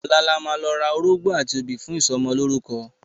Ọ̀la la máa lọ ra orógbó àti obì fún ìsọmọlórúkọ.